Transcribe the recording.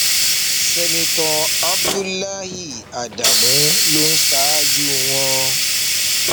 sẹńtítọ abdullahi ádámù ló ń ṣáájú wọn